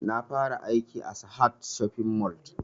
Na fara aiki a sahad shopping mall